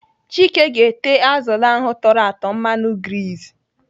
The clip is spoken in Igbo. Chike ga-ete azụlụ ahụ tọrọ atọ mmanụ grizi.